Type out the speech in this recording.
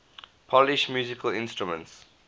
polish musical instruments